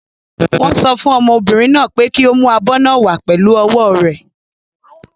Wọ́n sọ fún ọmọbìnrin náà pé kí ó mú abọ́ náà wàá pẹ̀lú ọwọ́ rẹ̀.